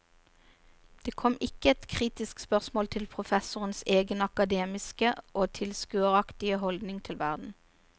Det kom ikke ett kritisk spørsmål til professorens egen akademiske og tilskueraktige holdning til verden.